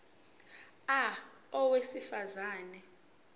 a owesifaz ane